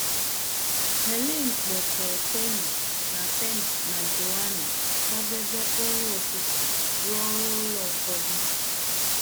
Helen akpọ́tèe Penny na Penny na Joanna, kwadebe nri ụtụtụ, rụọ ọrụ ụlọ ụfọdụ.